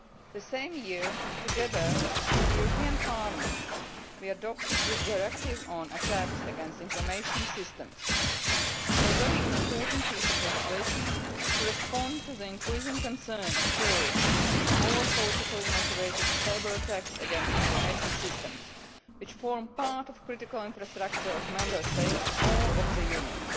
The same year, together with the European Parliament, we adopted the Directive on attacks against information systems. This was a very important piece of legislation to respond to the increasing concern about terrorist or politically motivated cyber attacks against information systems, which form part of the critical infrastructure of Member States or of the Union.